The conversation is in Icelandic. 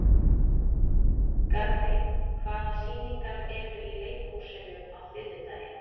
Garri, hvaða sýningar eru í leikhúsinu á þriðjudaginn?